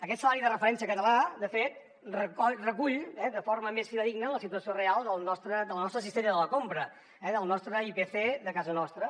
aquest salari de referència català de fet recull de forma més fidedigna la situació real de la nostra cistella de la compra eh el nostre ipc de casa nostra